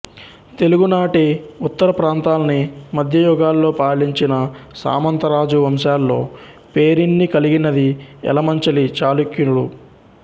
తెలుగునాటి ఉత్తర ప్రాంతాల్ని మధ్య యుగాల్లో పాలించిన సామంతరాజు వంశాల్లో పేరెన్నికలిగినది ఎలమంచిలి చాళుక్యులు